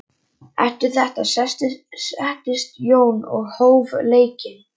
Eftir þetta settist Jón og hóf leikinn.